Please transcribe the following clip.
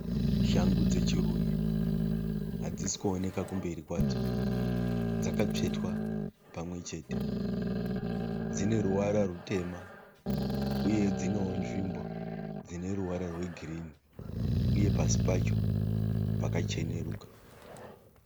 Shangu dzechirume, hadzisi kuoneka kumberi kwadzo . Dzakatsvetwa pamwechete. Dzineruvara rwutema uye dzinewo nzvimbo dzineruvara rwegirinhi uye pasi pacho pakacheneruka.